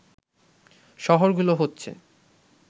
শহরগুলো হচ্ছে